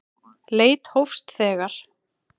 Leit hófst þegar